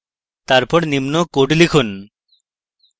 তারপর নিম্ন code লিখুন